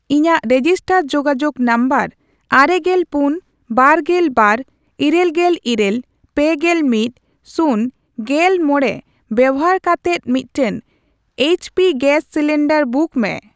ᱤᱧᱟᱜ ᱨᱮᱡᱤᱥᱴᱟᱨ ᱡᱳᱜᱟᱡᱳᱜ ᱱᱚᱢᱵᱚᱨ ᱟᱨᱮᱜᱮᱞ ᱯᱩᱱ, ᱵᱟᱨᱜᱮᱞ ᱵᱟᱨ, ᱤᱨᱟᱹᱞᱜᱮᱞ ᱤᱨᱟᱹᱞ, ᱯᱮᱜᱮᱞ ᱢᱤᱫ, ᱥᱩᱱ, ᱜᱮᱞᱢᱚᱲᱮ ᱵᱮᱵᱚᱦᱟᱨ ᱠᱟᱛᱮᱫ ᱢᱤᱫᱴᱟᱝ ᱮᱭᱤᱪᱯᱤ ᱜᱮᱥ ᱥᱤᱞᱤᱱᱰᱟᱨ ᱵᱩᱠ ᱢᱮ ᱾